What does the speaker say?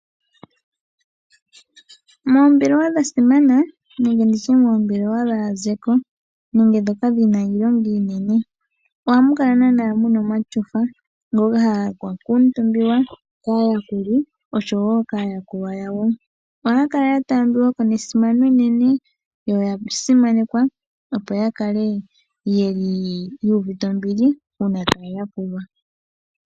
Moombelewa dhasimana nenge moombelewa dhaakengeli nenge ndhoka dhi na iilonga iinene ihamu kala muna omatyofa ngoka ha ga kuutumbiwa koo oshowo kaayakulwa yawo. Ohay kala ya taambiwako nesimano enene yo oya simananekwa opo ta kale ye li yu uvite